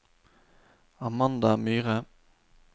Amanda Myhre